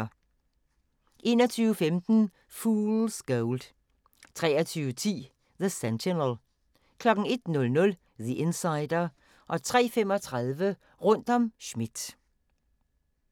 21:15: Fool's Gold 23:10: The Sentinel 01:00: The Insider 03:35: Rundt om Schmidt